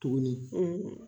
Tuguni